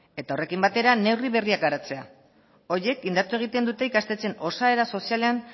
eta horrekin batera neurri berriak garatzea horiek indartu egiten dute ikastetxeen osaera sozialean